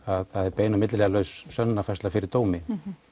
að það er bein og milliliðalaus sönnunarfærsla fyrir dómi